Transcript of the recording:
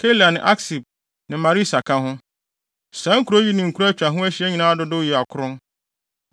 Keila ne Aksib ne Maresa ka ho. Saa nkurow yi ne nkuraa a atwa ho ahyia nyinaa dodow yɛ akron.